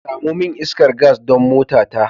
Samo min iskar gas don motata.